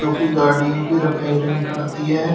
की गाड़ियों की रिपेयरिंग करती है।